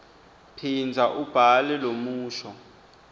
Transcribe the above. phindza ubhale lomusho